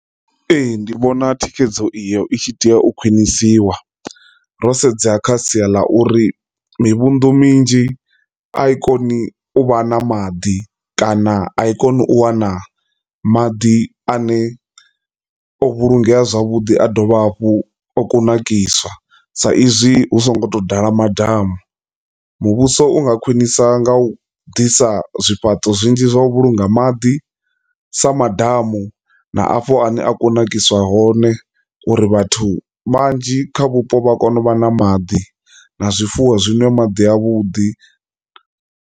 Ee, ndi vhona thikhedzo iyo i tshi tea u khwinisiwa ro sedza kha sia ḽa uri mivhundu minzhi a i koni u vha na maḓi kana a i koni u wana maḓi ane o vhulungeya zwavhuḓi a dovha hafhu o kunakiswa sa izwi hu so ngo to ḓala madamu. Muvhuso u nga khwinisa nga u ḓisa zwifhaṱo zwinzhi zwa u vhulunga maḓi sa maḓamu na afho ane a kunakiswa hone uri vhathu manzhi kha vhupo vha kone u vha na maḓi na zwifuwo zwi nwe maḓi a vhuḓi.